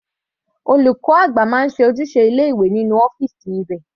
Olùkọ́ àgbà máa ń ṣe ojúṣe ilé ìwé nínú ọ́fìsì rẹ̀.